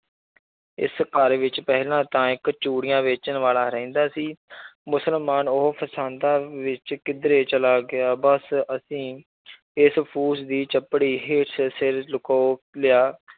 ਇਸ ਘਰ ਵਿੱਚ ਪਹਿਲਾਂ ਤਾਂ ਇੱਕ ਚੂੜੀਆਂ ਵੇਚਣ ਵਾਲਾ ਰਹਿੰਦਾ ਸੀ ਮੁਸਲਮਾਨ ਉਹ ਫਸਾਦਾਂ ਵਿੱਚ ਕਿੱਧਰੇ ਚਲਾ ਗਿਆ, ਬਸ ਅਸੀਂ ਇਸ ਫੂਸ ਦੀ ਚਪੜੀ ਹੇਠ ਸਿਰ ਲੁਕੋ ਲਿਆ